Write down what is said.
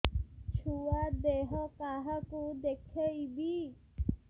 ଛୁଆ ଦେହ କାହାକୁ ଦେଖେଇବି